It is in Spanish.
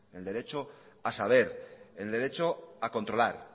en el derecho a saber el derecho a